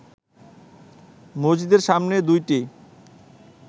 মসজিদের সামনে দুইটি